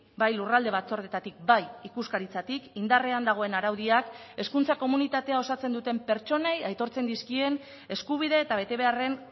bai lurralde batzordetatik bai ikuskaritzatik indarrean dagoen araudiak hezkuntza komunitatea osatzen duten pertsonei aitortzen dizkien eskubide eta betebeharren